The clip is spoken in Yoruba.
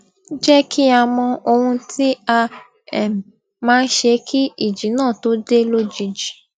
jẹ kí a mọ ohun tí a um máa ṣe kí ìjì náà tó dé lójijì